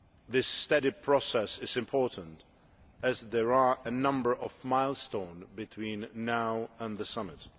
This steady process is important as there are a number of milestones between now and the Summit.